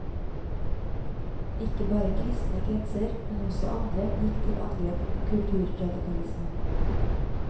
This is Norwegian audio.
Ikke bare kristne kretser, men også andre gikk til angrep på kulturradikalismen.